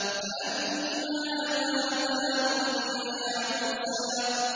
فَلَمَّا أَتَاهَا نُودِيَ يَا مُوسَىٰ